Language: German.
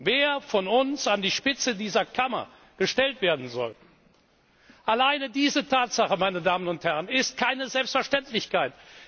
wer von uns an die Spitze dieser Kammer gestellt werden soll, alleine diese Tatsache, meine Damen und Herren, ist keine Selbstverständlichkeit.